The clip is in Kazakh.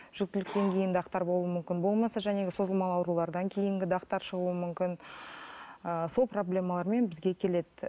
жүкітіліктен кейін дақтар болуы мүмкін болмаса созылмалы аурулардан кейінгі дақтар шығуы мүмкін ы сол проблемалармен бізге келеді